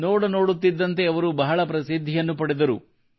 ನೋಡ ನೋಡುತ್ತಿದ್ದಂತೆ ಅವರು ಬಹಳ ಪ್ರಸಿದ್ಧಿಯನ್ನು ಪಡೆದರು